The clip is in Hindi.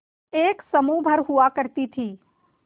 एक समूह भर हुआ करती थी